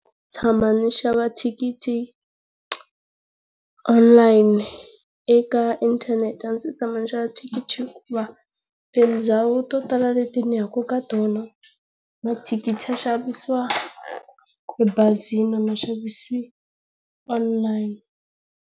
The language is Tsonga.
Tshama ni xava thikithi online eka inthanete a ndzi se tshama ni xava thikithi hikuva tindhawu to tala leti ni yaka ka tona, mathikithi ma xavisiwa ebazini a ma xavisiwa online.